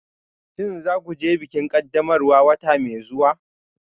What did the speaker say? Shin za ku je bikin ƙaddamarwa wata mai zuwa?